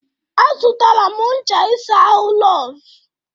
Azụtara m ncha isa ahụ Lọz.